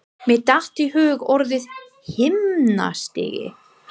Mér datt í hug orðið himnastigi.